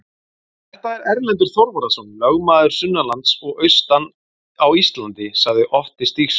Þetta er Erlendur Þorvarðarson, lögmaður sunnanlands og austan á Íslandi, sagði Otti Stígsson.